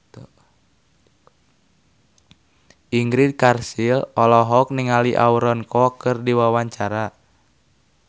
Ingrid Kansil olohok ningali Aaron Kwok keur diwawancara